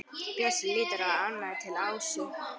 Bjössi lítur ánægður til Ásu.